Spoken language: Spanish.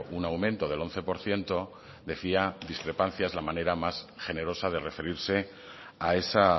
un aumento del once por ciento decía discrepancia es la manera más generosa de referirse a esa